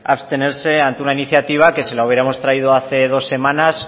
abstenerse ante una iniciativa que si la hubiéramos traído hace dos semanas